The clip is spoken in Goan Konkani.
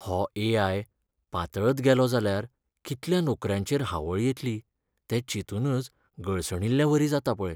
हो ए.आय. पातळत गेलो जाल्यार कितल्या नोकऱ्यांचेर हावळ येतली तें चिंतूनच गळसणिल्लेवरी जाता पळय.